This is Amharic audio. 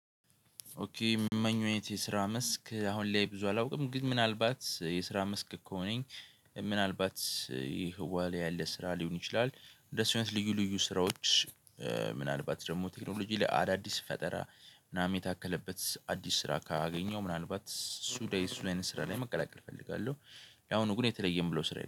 ኦኬ ሚመኘው አይነት ስራ መስክ አሁን ላይ ብዙ አላውቅም ግን ምናልባት የስራ መስክ ከሆነ ምናልባት ይህ ዋሊያ ያለ ስራ ሊሆን ይችላል። እንደሱ አይነት ልዩ ልዩ ስራዎች ምናልባት ደግሞ ቴክኖሎጂ ላይ አዳዲስ ፈጠራ ምናምን የታከለበት አዲስ ስራ ካገኘው ምናልባት እሱ ላይ እሱን አይነት ስራ ላይ መቀላቀል እፈልጋለሁ። ያው ግን የተለየ የምለው ስራ የለም